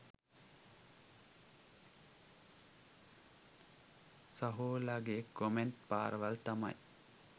සහෝලගෙ comment පාරවල් තමයි